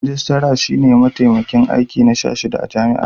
Rijistara shi ne matakin aiki na 16 a jam'a.